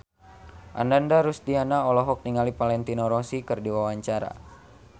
Ananda Rusdiana olohok ningali Valentino Rossi keur diwawancara